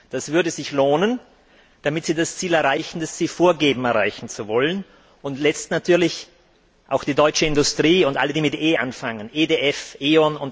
Das würde sich lohnen, damit Sie das Ziel erreichen, das Sie vorgeben, erreichen zu wollen. Und nicht zuletzt können auch die deutsche Industrie und alle, die mit E anfangen EDF,